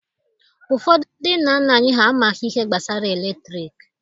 Ụfọdụ ndị nna nna anyị ha amaghị ihe gbasara eletriki.